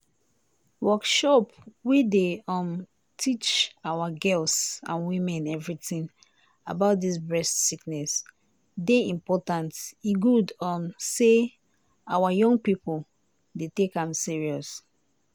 workshop wey dey um teach awa girls and women everitin about dis breast sickness dey important e good um say awa young pipo dey take am serious.